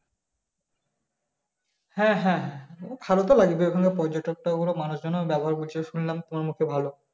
হ্যাঁ হ্যাঁ হ্যাঁ ভালো তো লাগবেই ওখানে পর্যটক তো আবার মানুষজন এর ব্যবহার বলছিল শুনলাম তোমার মুখে ভালো